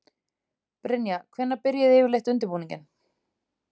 Brynja: Hvenær byrjið þið yfirleitt undirbúninginn?